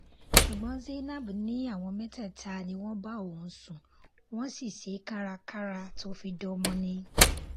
ṣùgbọ́n zainab ní àwọn mẹ́tẹ̀ẹ̀ta ni wọ́n bá òun sùn wọ́n sì ṣe é kárakára tó fi dọmọ ni